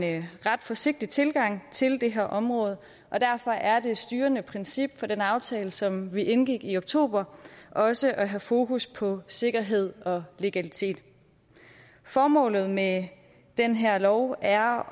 en ret forsigtig tilgang til det her område og derfor er det styrende princip for den aftale som vi indgik i oktober også at have fokus på sikkerhed og legalitet formålet med den her lov er